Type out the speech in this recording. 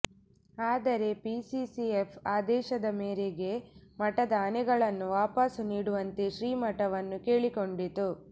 ಆದರೆ ಪಿಸಿಸಿಎಫ್ ಆದೇಶದ ಮೇರೆಗೆ ಮಠದ ಆನೆಗಳನ್ನು ವಾಪಸ್ಸು ನೀಡುವಂತೆ ಶ್ರೀ ಮಠವನ್ನು ಕೇಳಿಕೊಂಡಿತ್ತು